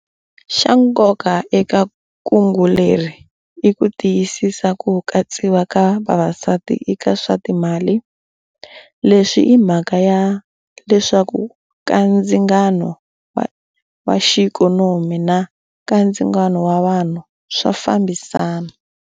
Xa nkoka eka kungu leri i ku tiyisisa ku katsiwa ka vavasati eka swa timali. Leswi i mhaka ya leswaku kandzingano wa xiikhonomi na kandzingano wa vanhu swa fambisana.